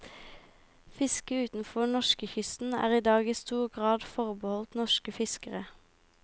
Fiske utenfor norskekysten er i dag i stor grad forbeholdt norske fiskere.